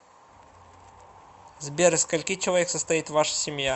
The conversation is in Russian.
сбер из скольки человек состоит ваша семья